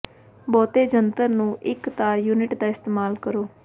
ਬਹੁਤੇ ਜੰਤਰ ਨੂੰ ਇੱਕ ਤਾਰ ਯੂਨਿਟ ਦਾ ਇਸਤੇਮਾਲ ਕਰੋ